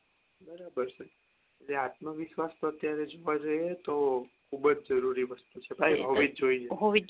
બરાબર છે એટલે આત્મવિશ્વાસ અત્યારે વધે તો ખુબજ જરૂરી વસ્તુ છે હોવીજ જોઈએ